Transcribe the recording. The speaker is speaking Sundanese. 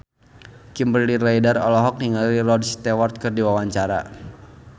Kimberly Ryder olohok ningali Rod Stewart keur diwawancara